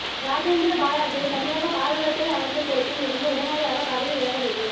ராஜேந்திர பாலாஜியை தமிழக பால்வளத்துறை அமைச்சர் பொறுப்பில் இருந்து உடனடியாக பதவி விலக வேண்டும்